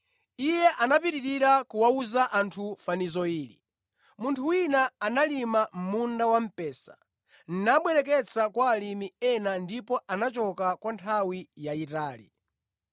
Iye anapitirira kuwawuza anthu fanizo ili: “Munthu wina analima munda wamphesa, nabwereketsa kwa alimi ena ndipo anachoka kwa nthawi yayitali.